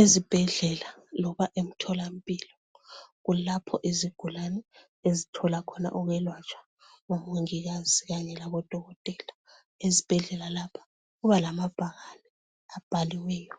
Ezibhedlela loba emtholampilo kulapho izigulani esithola khona ukwelatshwa kubomongikazi khanye labodokotela. Esibhedlela lapha kuba lamabhakani abhaliweyo.